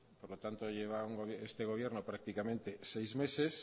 por lo tanto lleva este gobierno prácticamente seis meses